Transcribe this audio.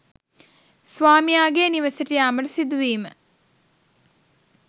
ස්වාමියාගේ නිවසට යාමට සිදුවීම